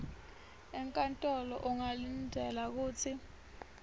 enkantolo ungalindzela kutsi